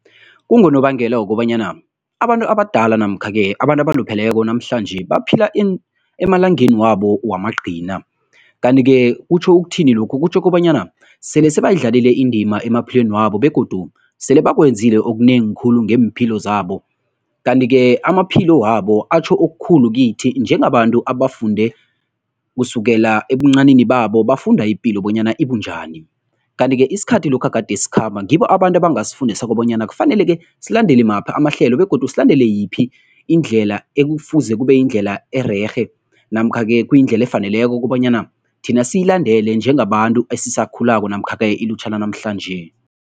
Kungonobangela wokobanyana abantu abadala namkha-ke abantu abalupheleko namhlanje baphila emalangeni wabo wamagcina. Kanti-ke kutjho ukuthini lokhu? Kutjho kobanyana sele sebayidlalile indima emaphilweni wabo begodu sele bakwenzile okunengi khulu ngeempilo zabo, kanti-ke amaphilo wabo atjho okukhulu kithi njengabantu abafunde kusukela ebuncanini babo, bafunda ipilo bonyana ibunjani. Kanti-ke isikhathi lokha kade sikhamba ngibo abantu abangasifundisa bonyana kufaneleke silandela maphi amahlelo begodu silandela yiphi indlela ekufuze kube yindlela ererhe namkha-ke kuyindlela efaneleko kobanyana thina siyilandela njengabantu esisakhulako namkha-ke ilutjha lanamhlanje.